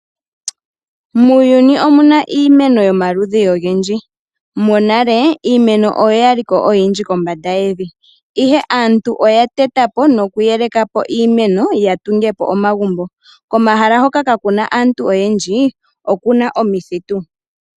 Muuyuni omu na iimeno yomaludhi ogendji. Monale iimeno oya liko oyindji kombanda yevi ashike aantu oya tetapo nokuyelekapo iimeno ya tungepo omagumbo komahala hoka kaakuna aantu oyendji okuna omithitu.